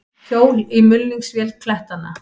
Hjól í mulningsvél klettanna.